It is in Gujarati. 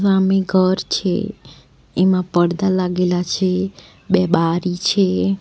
સામે ઘર છે એમાં પડતા લાગેલા છે બે બારી છે.